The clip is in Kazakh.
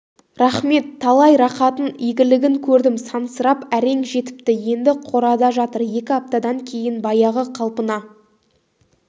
рахмет талай рақатын игілігін көрдім сансырап әрең жетіпті енді қорада жатыр екі аптадан кейіп баяғы қалпына